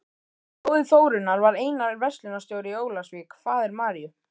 Bróðir Þórunnar var Einar, verslunarstjóri í Ólafsvík, faðir Maríu